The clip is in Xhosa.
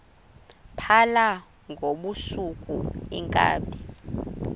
phala ngobusuku iinkabi